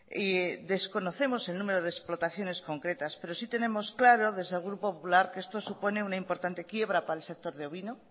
y desconocemos el número de explotaciones concretas pero sí tenemos claro desde el grupo popular que esto supone una importante quiebra para el sector ovino